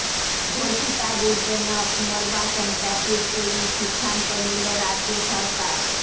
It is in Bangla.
ধর্ষিতাদের জন্য পুনর্বাসন প্যাকেজ তৈরির সিদ্ধান্ত নিল রাজ্য সরকার